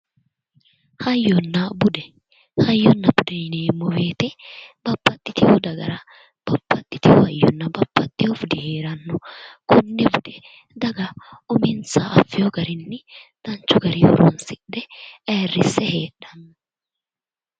Hayyonna bude hayyonna bude yineemmo woyte babbaxxiteyo dagara babbaxxiteyo hayyonna babbaxxiteyo budi heeranno konne bude daga uminsaha affeyo daninni danchu garii horonsidhe ayirrisse heedhanno